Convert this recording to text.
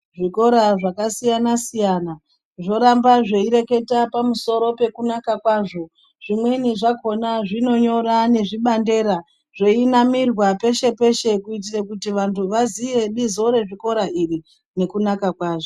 Zvikora zvakasiyana-siyana zvoramba zveireketa pamusoro pekunaka kwazvo. Zvimweni zvakhona zvinonyora nezvibandera, zveinamirwa peshe-peshe. Kuitira kuti vantu vaziye bizo rezvikora iri, nekunaka kwazvo.